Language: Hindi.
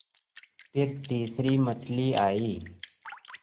फिर तीसरी मछली आई